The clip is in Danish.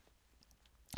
DR2